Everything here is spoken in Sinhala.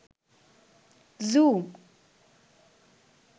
zoom